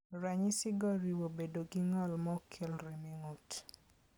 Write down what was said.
Ranyisigo oriwo bedo gi ng'ol maok kel rem e ng'ut.